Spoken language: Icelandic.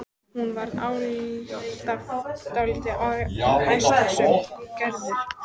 Hún var alltaf dálítið ærslasöm, hún Gerður.